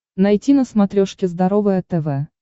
найти на смотрешке здоровое тв